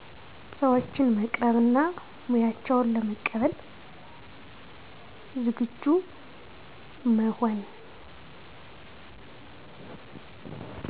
ሰዎችን መቅረብ እና ሙያቸውን ለመቀበል ዝግጁ መሆን